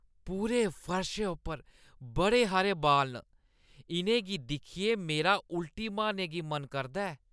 पूरे फर्शै उप्पर बड़े हारे बाल न। इʼनें गी दिक्खियै मेरा उल्टी मारने गी मन करदा ऐ।